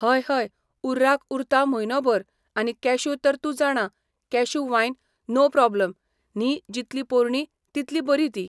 हय हय उर्राक उरता म्हयनो भर आनी कॅश्यू तर तूं जाणां कॅश्यू वायन नो प्रोबलम न्ही जितली पोरणी तितली बरी ती